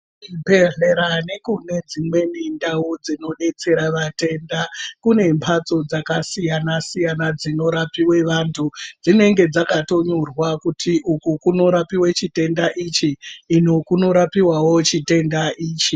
Chibhehlera ,nekudzimweni ndau dzino detsera matenda kune mbatso dzakasiyana-siyana dzino rapiwa vantu. Dzinenge dzakanyorwa kuti uku kunorapiwa chitenda ichi iyo kunorapiwawo chitenda ichi.